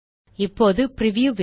இப்போது preview window